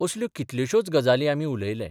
असल्यो कितल्योश्योच गजाली आमी उलयले.